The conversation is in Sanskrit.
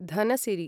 धनसिरि